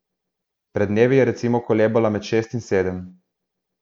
Pred dnevi je recimo kolebala med šest in sedem.